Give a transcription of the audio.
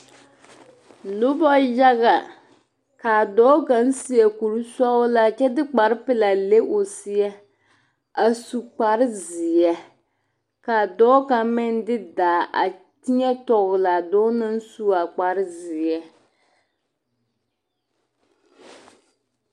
Noba yaga ka a dɔɔ kaŋa seɛ kurisɔglaa a de kparrepelaa le o seɛ a su kpareseɛ ka a dɔɔ kaŋ meŋ de daa a teɛ tɔgle a dɔɔ naŋ zeŋ seɛ.